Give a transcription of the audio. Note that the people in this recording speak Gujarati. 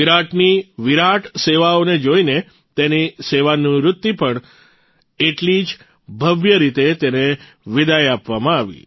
વિરાટની વિરાટ સેવાઓને જોઇને તેની સેવાનિવૃત્તિ પછી એટલી જ ભવ્ય રીતે તેને વિદાઇ આપવામાં આવી